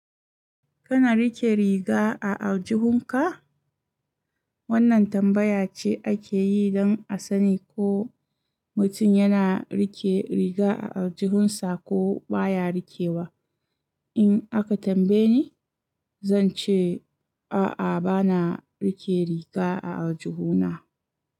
Kana riƙe riga a aljihunka? Wannan tambaya ce ake yi don a sani ko mutum yana riƙe riga a aljihunsa ko baya rikewa. In aka tambaye ni, zan ce, a'a bana riƙe riga a aljihuna.